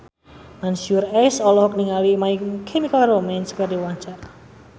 Mansyur S olohok ningali My Chemical Romance keur diwawancara